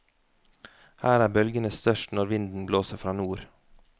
Her er bølgene størst når vinden blåser fra nord.